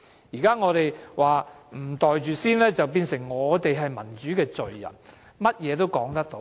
現在我們不"袋住先"，變成我們是民主罪人，甚麼也說得出。